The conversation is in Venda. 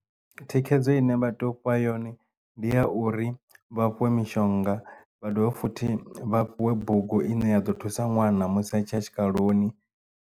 Thikhedzo ine vha tea u fha yone ndi ya uri vha fhiwe mishonga vha dovhe futhi vha fhiwe bugu ine ya ḓo thusa ṅwana musi atshiya tshikaloni.